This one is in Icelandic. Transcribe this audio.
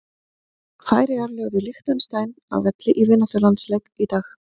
Færeyjar lögðu Liechtenstein að velli í vináttulandsleik í dag.